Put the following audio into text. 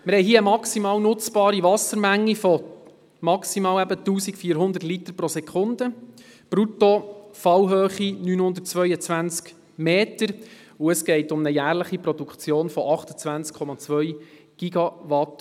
Wir haben hier eine maximal nutzbare Wassermenge von 1400 Litern pro Sekunde, eine Bruttofallhöhe von 922 Metern, und es geht um eine jährliche Stromproduktion von 28,2 GWh.